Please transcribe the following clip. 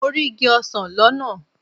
Mo rí igi ọsán lọ́nà.